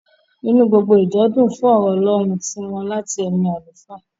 Inú gbogbo ìjọ dùn fún ọ̀rọ̀ ọlọ́run tí wọ́n láti ẹnu àlùfáà.